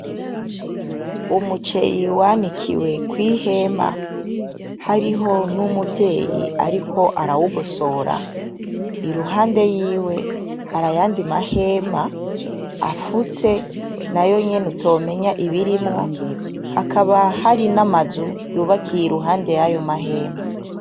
Umuceri wanikiwe kw'ihema, hariho n'umuvyeyi ariko arawugosora. Iruhande yiwe hari ayandi mahema afutse, nayo nyene utomenya ibirimwo. Hakaba hari n'amazu yubakiye iruhande y'ayo mahema.